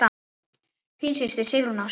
Þín systir, Sigrún Ásta.